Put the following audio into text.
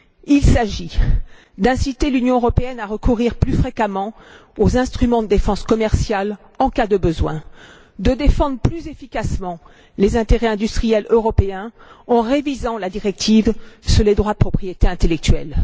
Il s'agit d'inciter l'Union européenne à recourir plus fréquemment aux instruments de défense commerciale, en cas de besoin, et de défendre plus efficacement les intérêts industriels européens en révisant la directive sur les droits de propriété intellectuelle.